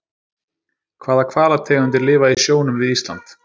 Hvaða hvalategundir lifa í sjónum við Ísland?